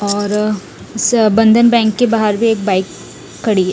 और से बंधन बैंक के बहार भी एक बाइक खड़ी है।